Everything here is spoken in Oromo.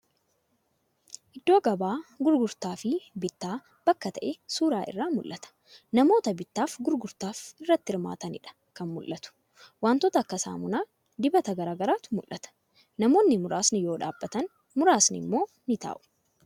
Iddoo gabaa gurgurtaf bittaa bakka ta'e suuraa irraa ni mul'ata. Namoota bittaaf gurgurtaa irratti hirmaataniidha kan mul'atu. Wantoota akka saamunaa, dibata garagaraatu mul'ata. Namoonni muraasni yoo dhaabbatan muraasni isaanii immoo ni taa'u.